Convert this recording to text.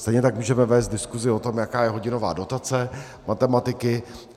Stejně tak můžeme vést diskusi o tom, jaká je hodinová dotace matematiky.